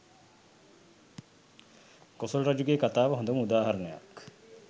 කොසොල් රජුගේ කතාව හොඳම උදාහරණයක්